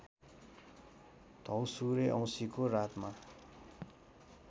द्यौसुरे औँसीको रातमा